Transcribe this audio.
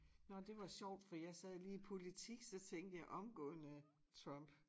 Nå de var sjovt for jeg sad lige politik så tænkte jeg omgående Trump